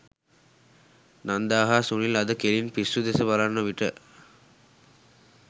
නන්දා හා සුනිල් අද කෙලින පිස්සු දෙස බලන විට